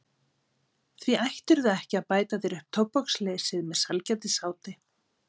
Því ættirðu ekki að bæta þér upp tóbaksleysið með sælgætisáti.